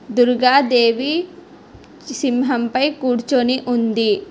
దుర్గ దేవి సింహం పై కూర్చొని ఉంది.